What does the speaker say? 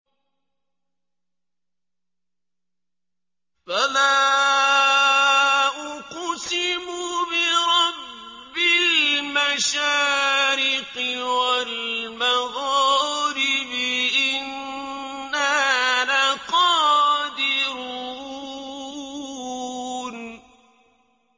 فَلَا أُقْسِمُ بِرَبِّ الْمَشَارِقِ وَالْمَغَارِبِ إِنَّا لَقَادِرُونَ